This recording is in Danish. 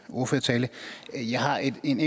en